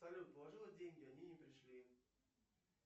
салют положила деньги они не пришли